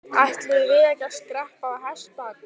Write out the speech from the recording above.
Ætluðum við ekki að skreppa á hestbak?